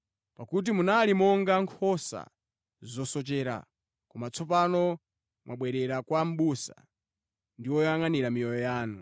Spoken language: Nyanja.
Pakuti munali monga nkhosa zosochera, koma tsopano mwabwerera kwa mʼbusa ndi woyangʼanira miyoyo yanu.